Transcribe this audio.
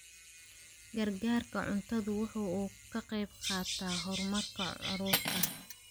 Gargaarka cuntadu waxa uu ka qayb qaataa horumarka carruurta.